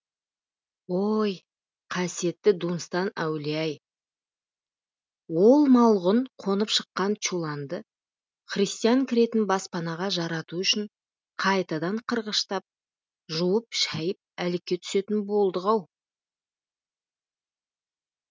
ой қасиетті дунстан әулие ай ол малғұн қонып шыққан чуланды христиан кіретін баспанаға жарату үшін қайтадан қырғыштап жуып шайып әлекке түсетін болдық ау